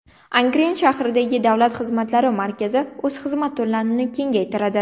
Angren shahridagi davlat xizmatlari markazlari o‘z xizmat turlarini kengaytiradi.